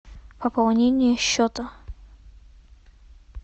пополнение счета